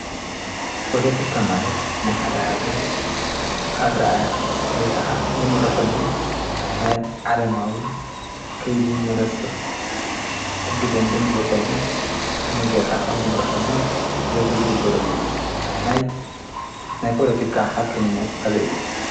ፖለቲካ ማለት ናይ ሓዳ ሃገር ኣርኣእያ ወይ ከዓ ዝምረሐሉ ናይ ዓለማዊ ከይዲ መነጽር ሕጊ ደንብን ዝወፀሉ ከመይ ጌይርካ ከም ዝምርሕሉን ዘተ ዝግብርሉን እዩ። ናይ ናይ ፖለቲካ ሓቀኝነት ኣበይ እዩ?